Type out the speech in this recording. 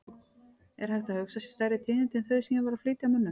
Er hægt að hugsa sér stærri tíðindi en þau sem ég var að flytja mönnum?!